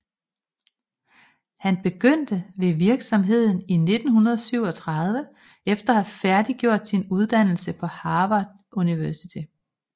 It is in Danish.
Han begyndte ved virksomheden i 1937 efter at have færdiggjort sin uddannelse på Harvard University